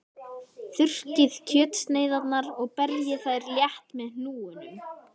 Þurrkið kjötsneiðarnar og berjið þær létt með hnúunum.